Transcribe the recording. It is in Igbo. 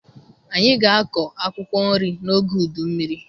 Anyị ga-akọ akwụkwọ nri n'oge udu mmiri